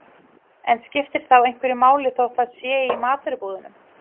En skiptir þá einhverju máli þótt það sé í matvörubúðum?